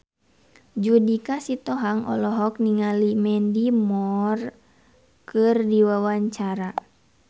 Judika Sitohang olohok ningali Mandy Moore keur diwawancara